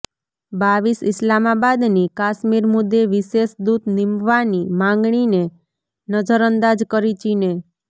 રર ઈસ્લામાબાદની કાશ્મીર મુદ્દે વિશેષદૂત નીમવાની માગણીને નજરઅંદાજ કરી ચીને